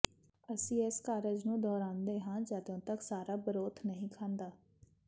ਅਸੀਂ ਇਸ ਕਾਰਜ ਨੂੰ ਦੁਹਰਾਉਂਦੇ ਹਾਂ ਜਦੋਂ ਤੱਕ ਸਾਰਾ ਬਰੋਥ ਨਹੀਂ ਖਾਂਦਾ